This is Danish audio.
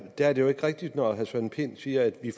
er jo ikke rigtigt når herre søren pind siger at vi